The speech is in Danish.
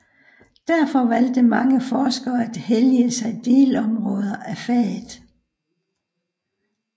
Derfor valgte mange forskere at hellige sig delområder af faget